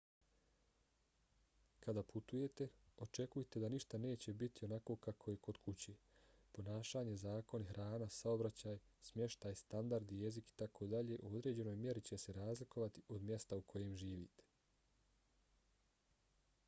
kada putujete očekujte da ništa neće niti onako kako je kod kuće . ponašanje zakoni hrana saobraćaj smještaj standardi jezik itd. u određenoj mjeri će se razlikovati od mjesta u kojem živite